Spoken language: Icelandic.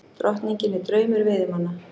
Drottningin er draumur veiðimanna